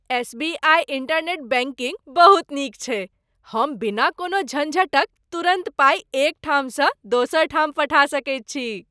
S. B. I. Internet banking बहुत नीक छैक। हम बिना कोनो झंझटक तुरन्त पाइ एक ठामसँ दोसर ठाम पठा सकैत छी।